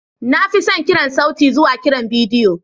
Na fi son kiran sauti zuwa kiran bidiyo.